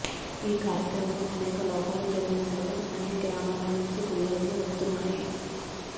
ఈ కార్యక్రమంలో అనేక లోపాలు జరిగినట్లుగా అన్ని గ్రామాల నుంచి ఫిర్యాదులు వస్తున్నాయి